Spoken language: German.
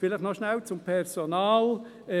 Vielleicht noch kurz zum Personal: